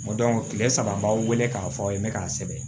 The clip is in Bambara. kile saba an b'aw wele k'a fɔ aw ye ne k'a sɛbɛn